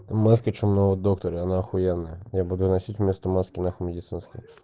это маски чумного доктора и она ахуенная я буду носить вместо маски нахуй медицинской